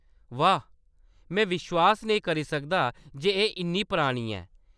वाह्‌‌, में विश्वास नेईं करी सकदा जे एह्‌‌ इन्नी परानी ऐ।